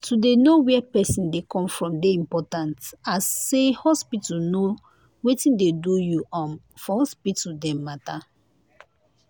to dey know where pesin dey come from dey important as say hospital know wetin dey do you um for hospital dem matter